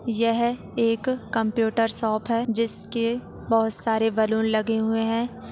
यह एक computer shop है जिस के बहुत सारे बैलून लगे हुए हैं।